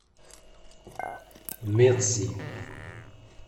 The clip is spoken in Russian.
медси